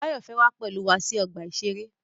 Báyọ̀ fẹ́ wá pẹ̀lú wa sí ọgbà-ìṣeré